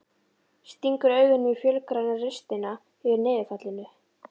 Stingur augunum í fölgræna ristina yfir niðurfallinu.